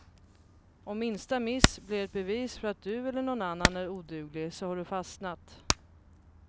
Om minsta miss blir ett bevis för att du eller någon annan är oduglig så har du fastnat.